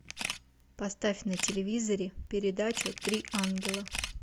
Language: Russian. поставь на телевизоре передачу три ангела